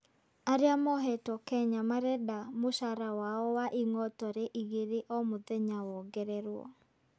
Arĩa mohetwo Kenya marenda mũcara wao wa ing'otore igere o mũthenya wongererwo.